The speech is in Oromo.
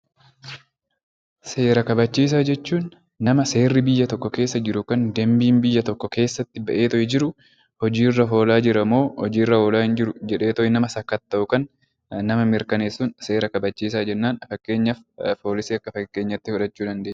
Seera kabachiisaa jechuun nama seerri biyya tokko keessa jiru yookaan dambiin biyya tokko keessatti baheetoo jiru hojii irra oolaa jira moo hojii irra oolaa hin jiru jedheetoo nama sakatta'u yookaan nama mirkaneessuun 'Seera kabachiisaa' jennaan. Fakkeenyaaf Poolisii akka fakkeenyaa tti fudhachuu dandeenya.